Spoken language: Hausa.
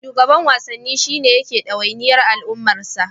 Shugaban Wasanni shi ne yake ɗawainiyar al'amuran wasa.